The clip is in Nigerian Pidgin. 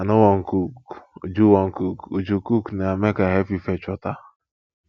i no wan cook uju wan cook uju cook na make i help you fetch water